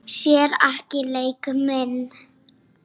Sér ekki leik minn.